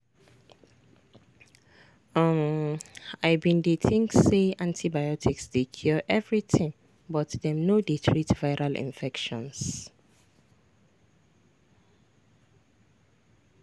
umi bin dey think say antibiotics dey cure everything but dem no dey treat viral infections.